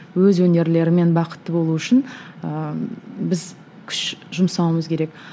өз өнерлерімен бақытты болу үшін ыыы біз күш жұмсауымыз керек